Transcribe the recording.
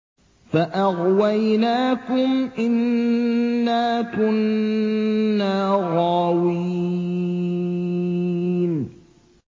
فَأَغْوَيْنَاكُمْ إِنَّا كُنَّا غَاوِينَ